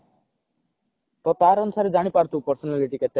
ତ ତାର ଅନୁସାରେ ଜାଣି ପାରୁଥିବୁ personality କେତେ